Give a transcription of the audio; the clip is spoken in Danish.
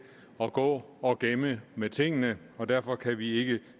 at gå og gemme med tingene og derfor kan vi ikke